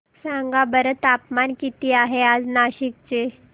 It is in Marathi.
सांगा बरं तापमान किती आहे आज नाशिक चे